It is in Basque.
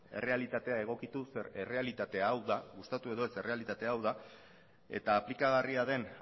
errealitatea egokitu zeren errealitatea hau da gustatu edo ez errealitatea hau da eta aplikagarria den